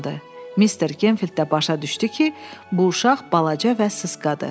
Mister Gemfild də başa düşdü ki, bu uşaq balaca və sısqadır.